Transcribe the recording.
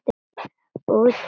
Útvegið mér salt!